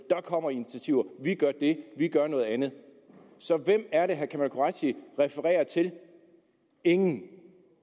der kommer initiativer vi gør det de gør noget andet så hvem er det herre kamal qureshi refererer til ingen